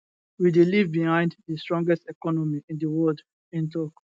we dey leave behind di strongest economy in di world e tok